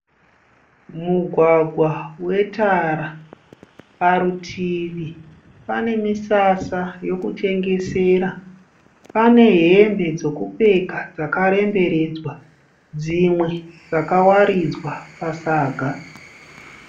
Mugwgwa wetara. Parutivi pane misasa yokutengesera. Pane hembe dzekupfeka dzakaremberedzwa, dzimwe dzakawaridzwa pasaga.